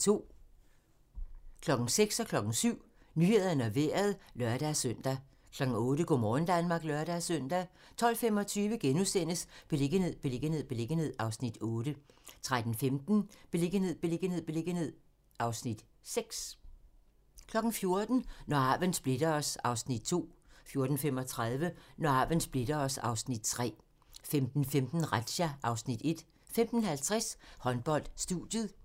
06:00: Nyhederne og Vejret (lør-søn) 07:00: Nyhederne og Vejret (lør-søn) 08:00: Go' morgen Danmark (lør-søn) 12:25: Beliggenhed, beliggenhed, beliggenhed (Afs. 8)* 13:15: Beliggenhed, beliggenhed, beliggenhed (Afs. 6) 14:00: Når arven splitter os (Afs. 2) 14:35: Når arven splitter os (Afs. 3) 15:15: Razzia (Afs. 1) 15:50: Håndbold: Studiet 16:05: Håndbold: Skjern-KIF Kolding (m)